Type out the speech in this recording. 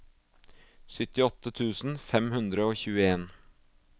syttiåtte tusen fem hundre og tjueen